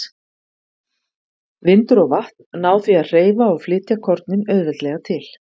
Vindur og vatn ná því að hreyfa og flytja kornin auðveldlega til.